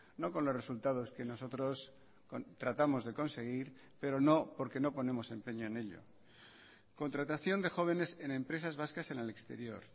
no con los resultados que nosotros tratamos de conseguir pero no porque no ponemos empeño en ello contratación de jóvenes en empresas vascas en el exterior